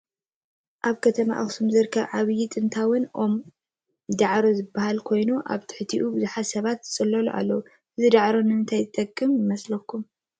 እዚ አብ ከተማ አክሱም ዝርከብ ዓብዩን ጥንታውን ኦም ዳዕሮ ዝበሃል ኮይኑ አብ ትሕቲኡ ብዙሐት ሰባት ዝፅለሉ አለው። እዚ ዳዕሮ ንምንታይ ዝጠቅም ይመስለኩም?